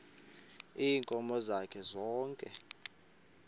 ziinkomo zakhe zonke